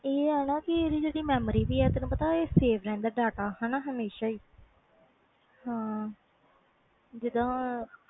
ਇਹਦੀ ਜਿਹੜੀ memory ਵ save ਰਹਿ ਦਾ data ਹਾਣਾ ਹਮੇਸ਼ਾਂ ਹੀ ਹੈ ਜੀਂਦਾ